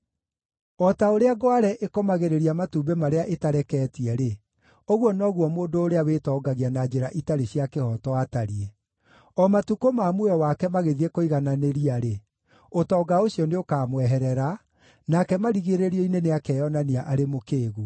O ta ũrĩa ngware ĩkomagĩrĩria matumbĩ marĩa ĩtareketie-rĩ, ũguo noguo mũndũ ũrĩa wĩtongagia na njĩra itarĩ cia kĩhooto atariĩ. O matukũ ma muoyo wake magĩthiĩ kũigananĩria-rĩ, ũtonga ũcio nĩũkamweherera, nake marigĩrĩrio-inĩ nĩakeyonania arĩ mũkĩĩgu.